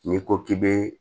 N'i ko k'i be